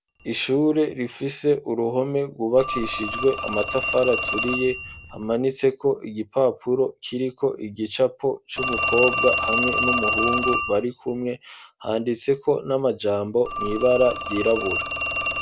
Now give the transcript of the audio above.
Ishure rifise uruhome rwubakishijwe amatafara aturiye hamanitse ko igipapuro kiri ko igicapo c'umukobwa hamwe n'umuhungu bari kumwe handitseko n'amajambo mw'ibara ryirabura.